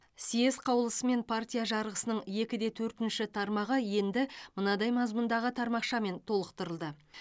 съезд қаулысымен партия жарғысының екі де төртінші тармағы енді мынадай мазмұндағы тармақшамен толықтырылды